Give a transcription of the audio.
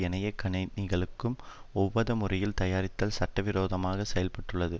ஏனைய கணனிகளுக்கு ஒவ்வாத முறையில் தயாரித்ததில் சட்டவிரோதமாக செயல் பட்டுள்ளது